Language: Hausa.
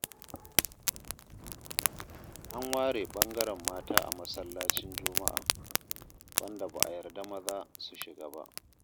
An ware bangaren mata a masallacin juma'a, wanda ba a yarda maza su shiga ba.